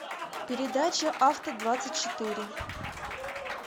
передача авто двадцать четыре